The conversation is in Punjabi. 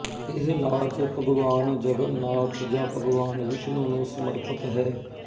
ਇਹ ਨਾਚ ਭਗਵਾਨ ਜਗਨਨਾਥ ਜਾਂ ਭਗਵਾਨ ਵਿਸ਼ਨੂੰ ਨੂੰ ਸਮਰਪਿਤ ਹੈ